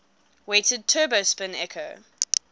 weighted turbo spin echo